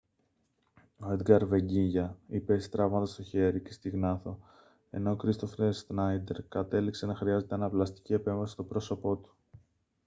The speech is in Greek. ο έντγκαρ βεγκίγια υπέστη τραύματα στο χέρι και στη γνάθο ενώ ο κρίστοφερ σνάιντερ κατέληξε να χρειάζεται αναπλαστική επέμβαση στο πρόσωπό του